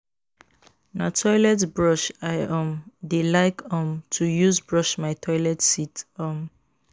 Na toilet brush I um dey like um to use brush my toilet seat. um